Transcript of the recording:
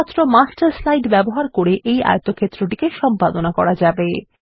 শুধুমাত্র master slide ব্যবহার করে এই আয়তক্ষেত্রটিকে সম্পাদনা করা যাবে